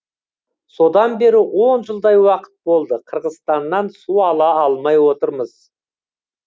содан бері он жылдай уақыт болды қырғызстаннан су ала алмай отырмыз